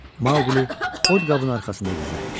Maqlı od qabını arxasında gizlətmişdi.